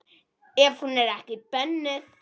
Ef hún er ekki bönnuð.